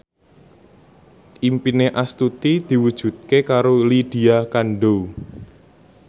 impine Astuti diwujudke karo Lydia Kandou